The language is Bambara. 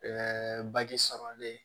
sɔrɔlen